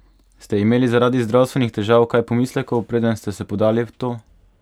Ste imeli zaradi zdravstvenih težav kaj pomislekov, preden ste se podali v to?